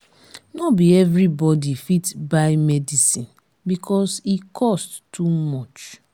no be everybody fit buy medicine because e cost too much.